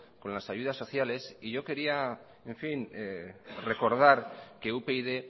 con las ayudas sociales y yo quería recordar que upyd